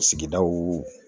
Sigidaw